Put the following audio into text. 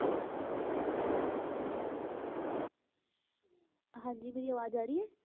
ਹਾਂਜੀ ਮੇਰੀ ਆਵਾਜ਼ ਆ ਰਹੀ ਹੈ?